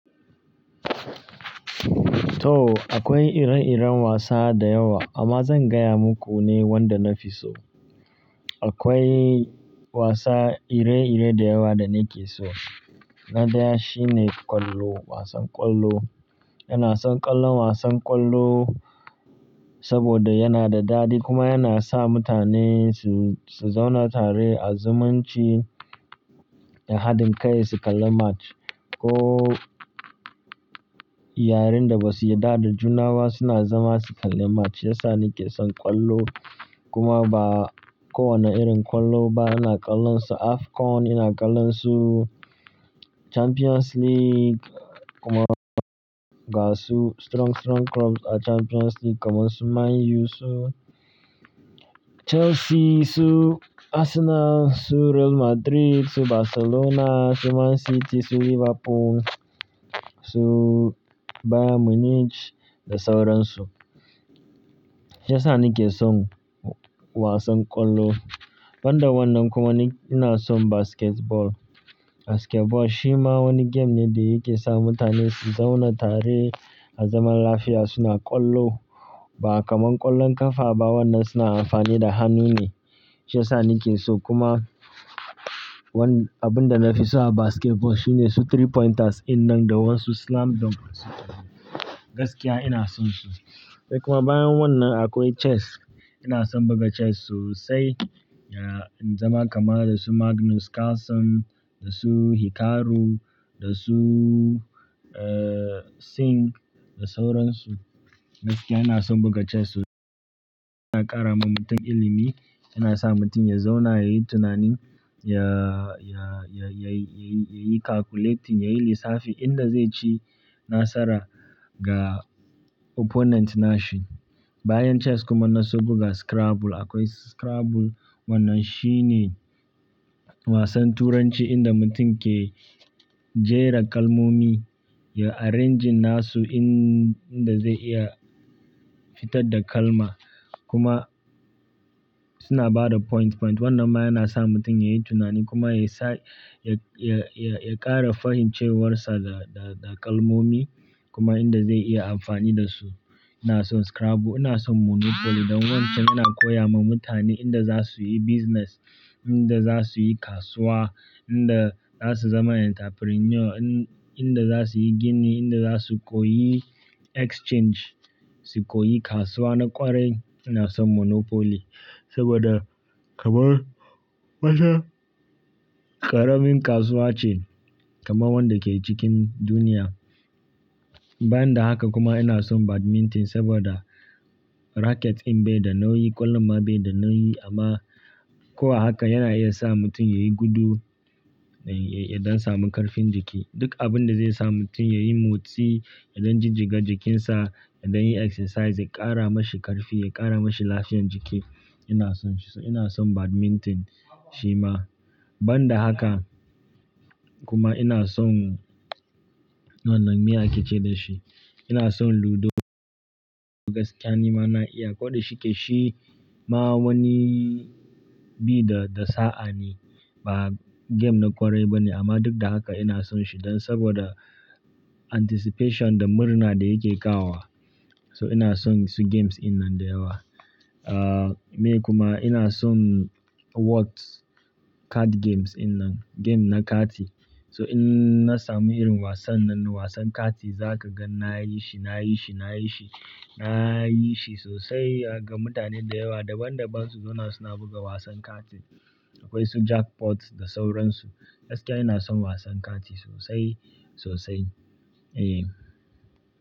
To, akwai ire-iren wasa da yawa amma zan gaya muku ne wanda na fi so. Akwai wasa ire-ire da yawa da ni ke so. Na daya shine ƙwallo, wasan ƙwallo. Ina son ƙallon wasan ƙwallo saboda yana da dadi kuma yana sa mutane su, su zauna tare a zumunci da hadin kai su kalla match ko yarennda basu yarda da juna ba suna zama su kalla match. Shi yasa ni ke son ƙwallo kuma ba kowane irin ƙwallo ba ina ƙallon su. Afcon ina ƙallon su, Champions League kuma ga su strong, strong clubs a Champions League kamar su Man Utd, su Chelsea, su Arsenal, su Real Madrid, su Barcelona, su Man City, su Liverpool, su Bayern Munich da sauran su. Shi yasa ni ke son wasan ƙwallo. Banda wannan kuma ni ina son basketball. Basketball shi ma wani game ne da yake sa mutane su zauna tare a zaman lafiya suna ƙwallo. Ba kamar ƙwallon ƙafa ba wannan suna amfani da hannu ne. Shiyasa ni ke so kuma wanda abinda nafi so a basketball shine su three pointers in nan da wa su slam dunks su. Gaskiya ina son su. Sai kuma bayan wannan akwai chess. Ina son buga chess sosai, ya in zama kamar da su Magnus Carlsen da su Hikaru da su, eh, Singh da sauran su. Gaskiya ina son buga chess sosai. Yana ƙara wa mutum ilimi, yana sa mutum ya zauna yayi tunani, ya, ya, ya, ya yi, ya yi, ya yi calculating, ya yi lissafi inda zai ci nasara ga opponent nashi. Bayan chess kuma na so buga scrabble. Akwai scrabble wannan shi ne wasan turanci inda mutum ke jera kalmomi ya arrange nasu in inda zai iya fitar da kalma kuma suna bada point, point. Wannan ma yana sa mutum ya yi tunani kuma ya sa ya, ya, ya, ya ƙara fahimcewarsa da, da, da kalmomi kuma inda zai iya amfani da su. Ina son scrabble, ina son monopoly don wancan yana koya ma mutane inda za su yi business, inda za su yi kasuwa, inda za su zama entrepreneur, in, inda za su yi gini, inda za su koyi exchange, su koyi kasuwa na ƙwarai. Ina son monopoly saboda kamar wata ƙaramin kasuwa ce kamar wanda ke cikin duniya. Bayan da haka kuma ina son badminton saboda racket in bai da nauyi, ƙwallon ma bai da nauyi amma ko a haka yana iya sa mutum yayi gudu, ya, ya dan samu ƙarfin jiki. Duk abun da zai sa mutum ya yi motsi, ya dan jijjiga jikinsa, ya don yi exercise, ya ƙara mashi ƙarfi, ya ƙara mashi lafiyan jiki. Ina son shi, ina son badminton shi ma. Banda haka kuma ina son wannan me ake ce da shi? Ina son ludo. Gaskiya ni ma na iya ko da shike shi ma wani bi da, da sa'a ne ba game na ƙwarai ba ne amma duk da haka ina son shi don saboda anticipation da murna da yake kawo wa. So ina son su games in nan da yawa. Ah, me kuma ina son whotes cards, card games in nan, game na kati. So in na samu irin wasan nan, wasan kati za ka gan na yi shi, na yi shi, na yi shi, na yi shi sosai ga mutane da yawa daban daban su zauna suna buga wasan kati. Akwai su jackpots da sauran su. Gaskiya ina son wasan kati sosai, sosai. Eh.